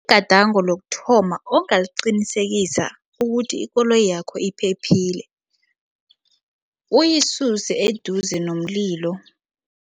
Igadango lokuthoma ongaliqinisekisa ukuthi ikoloyi yakho iphephile uyisuse eduze nomlilo.